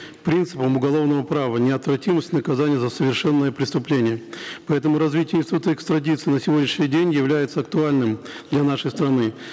принципом уголовного права неотвратимость наказания за совершенное преступление поэтому развитие института экстрадиции на сегодняшний день является актуальным для нашей страны